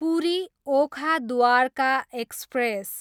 Puri, Okha Dwarka express